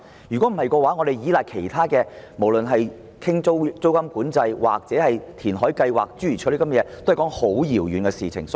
如果我們只依賴其他措施如租金管制或填海計劃等，其實是過於遙遠。